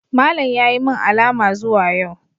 Malam ya yi min alama zuwa yau.